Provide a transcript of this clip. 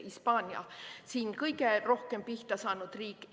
Hispaania on kõige rohkem pihta saanud riik.